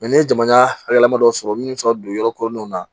ni ye jamana hakililama dɔ sɔrɔ minnu bɛ se ka don yɔrɔ kolonw na